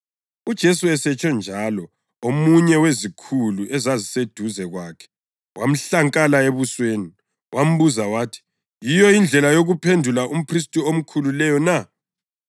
UJesu esetshonjalo, omunye wezikhulu ezaziseduze kwakhe wamhlankala ebusweni, wambuza wathi, “Yiyo indlela yokuphendula umphristi omkhulu leyo na?”